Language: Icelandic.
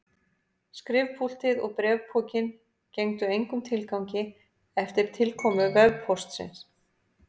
Skrifpúltið og bréfpokinn gengdu engum tilgangi eftir tilkomu vefpóstsins.